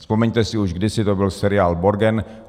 Vzpomeňte si, už kdysi to byl seriál Borgen.